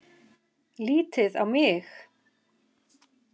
Lítið á mig!